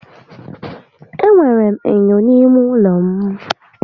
E nwèrè m ènyò n'ímé ụlọ m